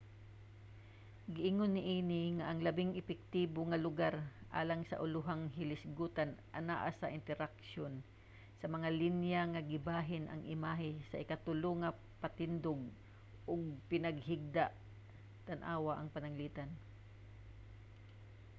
giingon niini nga ang labing epektibo nga lugar alang sa ulohang hilisgutan anaa sa interseksyon sa mga linya nga gibahin ang imahe sa ikatulo nga patindog ug pinahigda tan-awa ang pananglitan